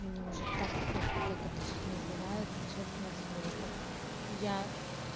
мне уже так пофиг как это все называется честное слово я